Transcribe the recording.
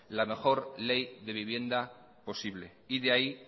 la mejor ley de vivienda posible y de ahí